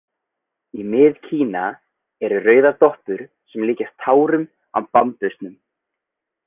Í Mið- Kína eru rauðar doppur sem líkjast tárum á bambusnum.